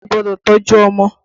Òbí gbọ́dọ̀ tọ́jú ọmọ